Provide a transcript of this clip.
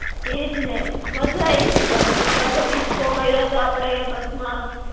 ઈજ ને. મજા આઇવીતી પણ, એમ એમાં પાછો disco કયરો તો આપડે એ બસમાં.